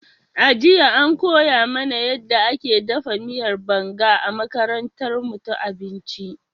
A jiya, an koya mana yadda ake dafa miyar Banga a makarantarmu ta abinci.